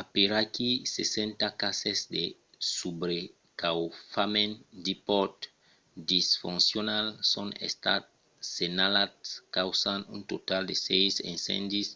aperaquí 60 cases de subrecaufament d'ipods disfoncionals son estats senhalats causant un total de sièis incendis